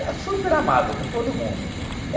E super amável com todo mundo.